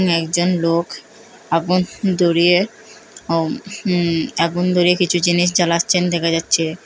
একজন লোক আগুন ধরিয়ে অম উ আগুন ধরিয়ে কিছু জিনিস জ্বালাচ্ছেন দেখা যাচ্ছে।